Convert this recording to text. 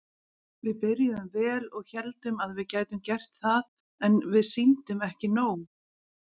Við byrjuðum vel og héldum að við gætum gert það en við sýndum ekki nóg.